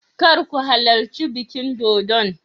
Kar ku halarci bikin dodon.